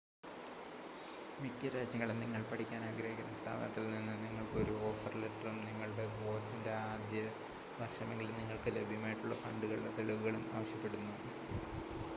മിക്ക രാജ്യങ്ങളും നിങ്ങൾ പഠിക്കാൻ ആഗ്രഹിക്കുന്ന സ്ഥാപനത്തിൽ നിന്ന് നിങ്ങൾക്ക് ഒരു ഓഫർ ലെറ്ററും നിങ്ങളുടെ കോഴ്സിൻ്റെ ആദ്യ വർഷമെങ്കിലും നിങ്ങൾക്ക് ലഭ്യമായിട്ടുള്ള ഫണ്ടുകളുടെ തെളിവുകളും ആവശ്യപ്പെടുന്നു